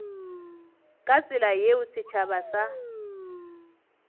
ka tsela yeo setšhaba sa